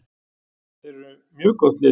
Þeir eru mjög gott lið.